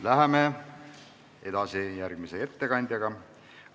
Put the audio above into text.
Läheme edasi järgmise ettekande juurde.